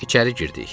İçəri girdik.